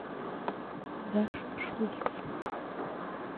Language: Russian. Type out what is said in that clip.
даша шульц